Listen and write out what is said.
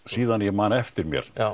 síðan ég man eftir mér